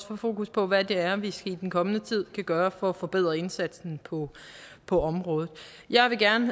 få fokus på hvad det er vi i den kommende tid kan gøre for at forbedre indsatsen på på området jeg vil gerne